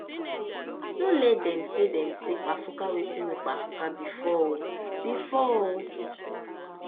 no let dem say dem say kpafuka wetin no kpafuka bifor o bifor o